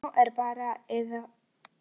Nú er bara af eða á.